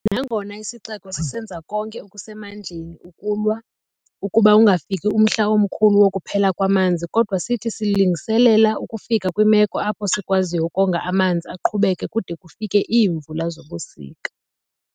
Nangona isixeko sisenza konke okusemandleni ukulwa ukuba ungafiki omhla omkhulu wokuphela kwamanzi kodwa sithi silungiselela ukufika kwimeko apho sikwaziyo ukonga amanzi aqhubeke kude kufike iimvula zobusika.